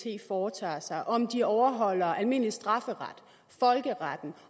foretager sig om de overholder almindelig strafferet folkeretten